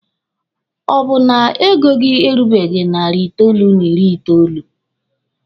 Ọ bụ na ego gị erubeghi narị itoolu n'ịrị itoolu?